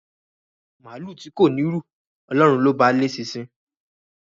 Màálù tí kò ní ru, Ọlọ́run ló ba léṣinṣin